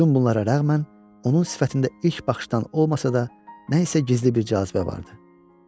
Bütün bunlara rəğmən onun sifətində ilk baxışdan olmasa da, nə isə gizli bir cazibə vardı.